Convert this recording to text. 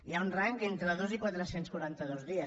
hi ha un rang entre dos i quatre cents i quaranta dos dies